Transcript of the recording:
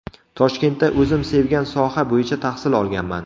Toshkentda o‘zim sevgan soha bo‘yicha tahsil olganman.